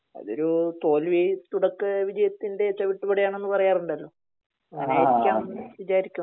അതൊരു തോൽവി തുടക്ക വിജയത്തിൻ്റെ ചവിട്ടുപടിയാണെന്ന് പറയാറുണ്ടല്ലോ. അങ്ങിനൊക്കെ ആണെന്ന് വിചാരിക്കാം